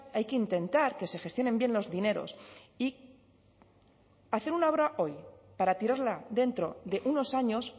hay que intentar que se gestionen bien los dineros y hace una obra para tirarla dentro de unos años